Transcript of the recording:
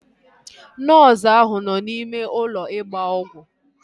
Nọọsu áhụ̀ nọ n'ime ụlọ ịgba ọgwụ